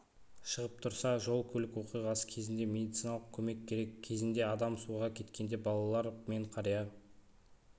шығып тұрса жол-көлік оқиғасы кезінде медициналық көмек керек кезінде адам суға кеткенде балалар мен қария